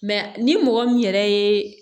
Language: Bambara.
ni mɔgɔ min yɛrɛ ye